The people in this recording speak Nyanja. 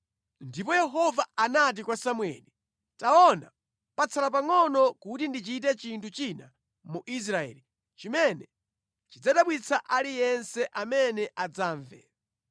Ndipo Yehova anati kwa Samueli, “Taona, patsala pangʼono kuti ndichite chinthu china mu Israeli chimene chidzadabwitsa aliyense amene adzamve.